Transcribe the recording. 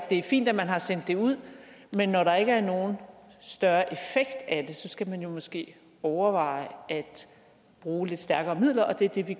det er fint at man har sendt det ud men når der ikke er nogen større effekt af det så skal man jo måske overveje at bruge lidt stærkere midler og det er det vi